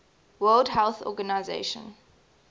world health organization